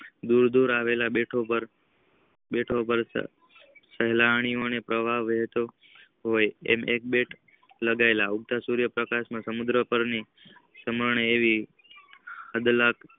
દૂર દૂર આવેલા બેઠો પર સાહિલઈ થી પ્રવાહ વેહ્તો હોય છે એક બેટ લાગવા ઉડતા સૂર્યપ્રકાશ ના પ્રમાણે આવે છે